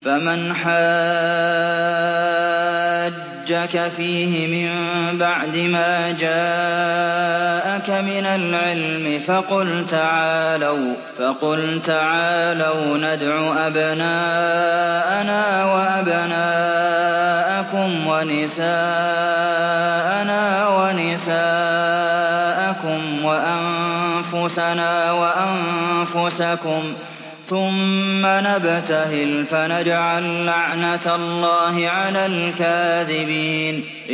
فَمَنْ حَاجَّكَ فِيهِ مِن بَعْدِ مَا جَاءَكَ مِنَ الْعِلْمِ فَقُلْ تَعَالَوْا نَدْعُ أَبْنَاءَنَا وَأَبْنَاءَكُمْ وَنِسَاءَنَا وَنِسَاءَكُمْ وَأَنفُسَنَا وَأَنفُسَكُمْ ثُمَّ نَبْتَهِلْ فَنَجْعَل لَّعْنَتَ اللَّهِ عَلَى الْكَاذِبِينَ